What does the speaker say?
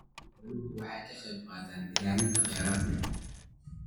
Xooluhu waxay ka qaybqaataan ilaalinta kheyraadka.